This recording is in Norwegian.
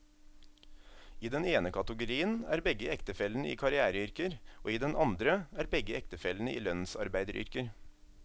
I den ene kategorien er begge ektefellene i karriereyrker, og i den andre er begge ektefellene i lønnsarbeideryrker.